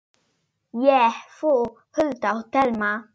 Ég, þú, Hulda og Telma.